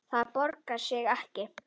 Það borgar sig ekki